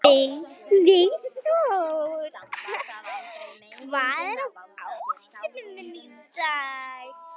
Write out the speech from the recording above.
Vígþór, hvað er á áætluninni minni í dag?